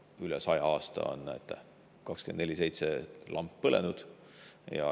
Üle 100 aasta on siin lamp 24/7 põlenud.